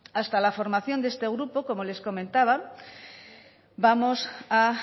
hasta la formación de este grupo como les comentaba vamos a